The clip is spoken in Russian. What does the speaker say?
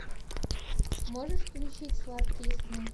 можешь включить сладкие сны